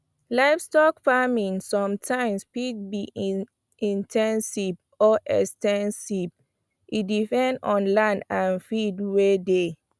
livestock farming sometimes fit be in ten sive or ex ten sive e depend on land and feed wey dey